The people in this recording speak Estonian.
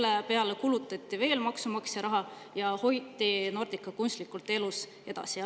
Nordica peale kulutati veel maksumaksja raha ja hoiti teda kunstlikult elus edasi.